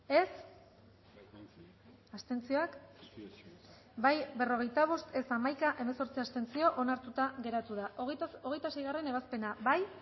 dezakegu bozketaren emaitza onako izan da hirurogeita hamalau eman dugu bozka berrogeita bost boto aldekoa hamaika contra hemezortzi abstentzio onartuta geratu da hogeita seigarrena ebazpena bozkatu